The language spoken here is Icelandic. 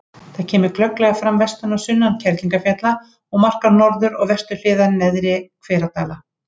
Það kemur glögglega fram vestan og sunnan Kerlingarfjalla og markar norður- og vesturhliðar Neðri-Hveradala.